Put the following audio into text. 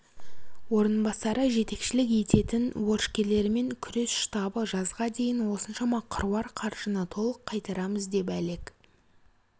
орынбасары жетекшілік ететін борышкерлермен күрес штабы жазға дейін осыншама қыруар қаржыны толық қайтарамыз деп әлек